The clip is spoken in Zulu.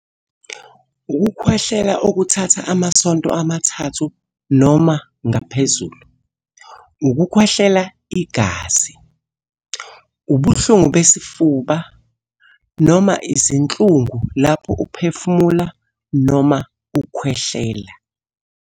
Ukukhwehlela okuthatha amasonto amathathu noma ngaphezulu. Ukukhwehlela igazi. Ubuhlungu besifuba, noma izinhlungu lapho uphefumula noma ukhwehlela.